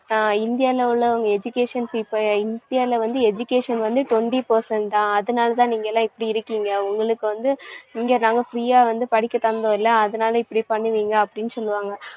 ஆஹ் இந்தியால உள்ளவங்க education இப்ப இந்தியால வந்து education வந்து twenty percent தான். அதனாலதான் நீங்கெல்லாம் இப்படி இருக்கீங்க, உங்களுக்கு வந்து இங்க நாங்க free ஆ வந்து படிக்க தந்தோம் இல்லை அதனால இப்படி பண்ணுவீங்க அப்படின்னு சொல்லுவாங்க